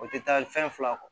O tɛ taa fɛn fila kɔ